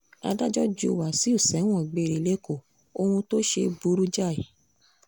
adájọ́ ju wáṣíù sẹ́wọ̀n gbére lẹ́kọ̀ọ́ ohun tó ṣe burú jáì